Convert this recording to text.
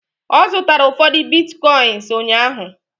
ọ zụtara ụfọdụ Bitcoins ụnyaahụ